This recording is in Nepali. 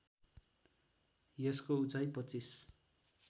यसको उचाइ २५